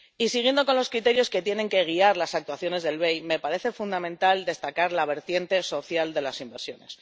Siguiendo con los criterios que tienen que guiar las actuaciones del BEI, me parece fundamental destacar la vertiente social de las inversiones.